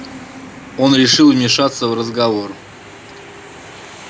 он решил вмешаться в разговор